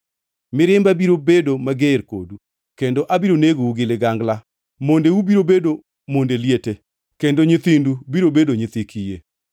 Mirimba biro bedo mager kodu kendo abiro negou gi ligangla mondeu biro bedo monde liete kendo nyithindu biro bedo nyithi kiye.